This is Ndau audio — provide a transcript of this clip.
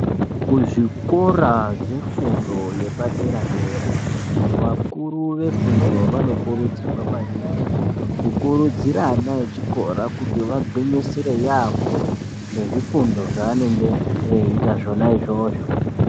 Kuzvikora zvefundo yepadera dera vakuru vefundo vanokurudzirwa maningi kukurudzira vana vechikora kuti vagwinyisire yambo nezvifundo zvavanenge veita zvona izvozvo.